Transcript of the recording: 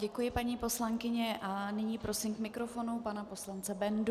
Děkuji, paní poslankyně, a nyní prosím k mikrofonu pana poslance Bendu.